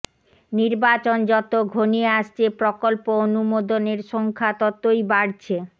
নির্বাচন যত ঘনিয়ে আসছে প্রকল্প অনুমোদনের সংখ্যা ততই বাড়ছে